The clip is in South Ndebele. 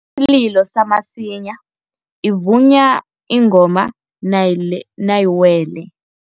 Isililo samasinya ivunywa ingoma nayiwele.